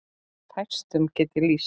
En fæstum get ég lýst.